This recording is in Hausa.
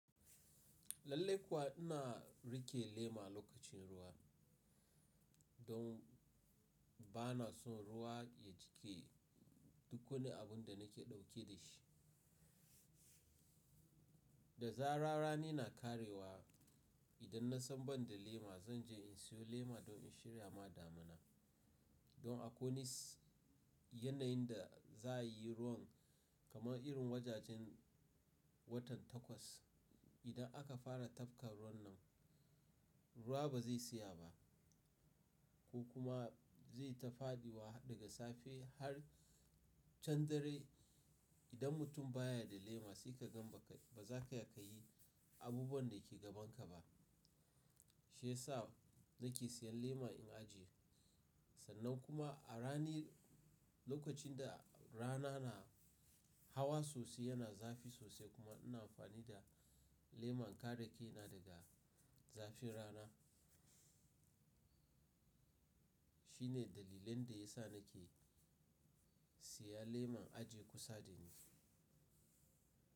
Lallai kuwa ina rike lema lokacin ruwa, don ba na son ruwa ya jiƙe duk wani abun da nake ɗauke da shi. Da zarar rani na karewa. Idan na san ban da lema, zan je in siyo lema don in shirya ma damina. Don a ko wane yanayin da za yi ruwan kamar irin wajajen watan Takwas, idan aka fara tafka ruwan nan, ruwa ba zai tsaya ba ko kuma zai ta fadiwa daga safe har can dare. Idan mutum baya da lema sai ka gan baza ka yi abubuwan da ke gaban ka ba. Shiyasa nake siyan lema in ajiye. Sannan kuma a rani lokacin da rana na hawa sosai yana zafi sosai kuma ina amfani da leman kare kaina daga zafin rana. Shine dalilin da ya sa nake siya leman ajiye kusa da ni.